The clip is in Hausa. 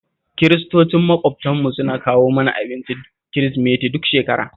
Kiristocin maƙwabtanmu suna kawo mana abincin Kirisimeti duk shekara